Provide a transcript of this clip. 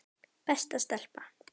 Besta stelpa.